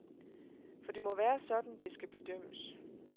For det må være sådan, det skal bedømmes.